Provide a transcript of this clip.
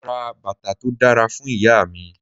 Mo ra bàtà tó dára fún Ìyá mi.